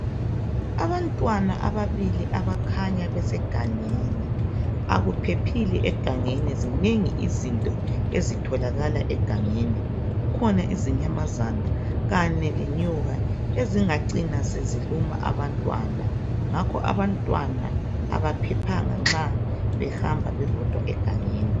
Abantwana ababili abakhanya besegangeni akuphephile egangeni zinengi izinto ezitholakala egangeni kukhona izinyamazana kanye lenyoka ezingacina seziluma abantwana ngakho abaphephanga nxa behamba bebodwa egangeni.